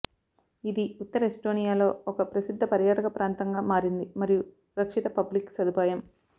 ఇది ఉత్తర ఎస్టోనియాలో ఒక ప్రసిద్ధ పర్యాటక ప్రాంతంగా మారింది మరియు రక్షిత పబ్లిక్ సదుపాయం